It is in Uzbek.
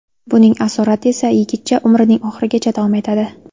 Buning asorati esa yigitcha umrining oxirigacha davom etadi.